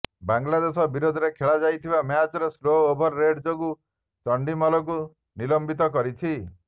ବାଂଲାଦେଶ ବିରୋଧରେ ଖେଳାଯାଇଥିବା ମ୍ୟାଚରେ ସ୍ଲୋ ଓଭର ରେଟ୍ ଯୋଗୁଁ ଚଣ୍ଡିମଲକୁ ନିଲମ୍ବିତ କରିଛି